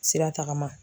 Sira tagama